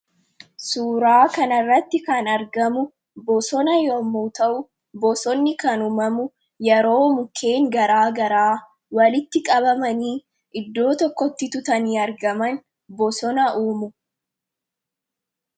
suuraa kana irratti kan argamu bosona yommuu ta'u bosonni kan umamu yeroo mukeen garaa garaa walitti qabamanii iddoo tokkotti tuutanii argaman bosona uumu